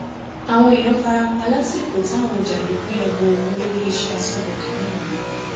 àwọn èèyàn fara pa lásìkò táwọn jàǹdùkú ya bo olú iléeṣẹ aṣọbodè ńìlọrin